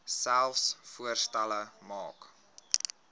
selfs voorstelle maak